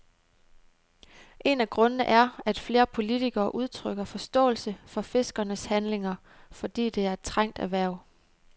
En af grundene er, at flere politikere udtrykker forståelse for fiskernes handlinger, fordi det er et trængt erhverv.